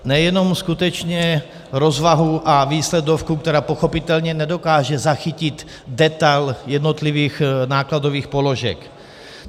Nejenom skutečně rozvahu a výsledovku, která pochopitelně nedokáže zachytit detail jednotlivých nákladových položek.